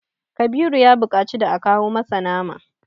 Kabiru ya buƙaci da aka masa nama.